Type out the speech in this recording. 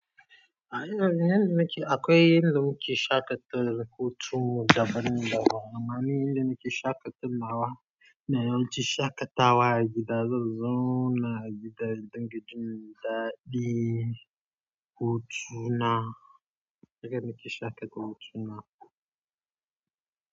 A ina yanda nake akwai inda muke shaƙatar hutu daban-daban. Amma ni inda nake shaƙatar nawa, ina yawan ci shaƙatawa a gida. Zan zauna a gida na dinga jin daɗi, hutuna. Yanda nake shaƙata hutuna.